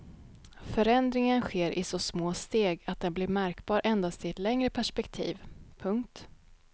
Förändringen sker i så små steg att den blir märkbar endast i ett längre perspektiv. punkt